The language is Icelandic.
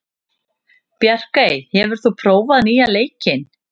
Bjarkey, hefur þú prófað nýja leikinn?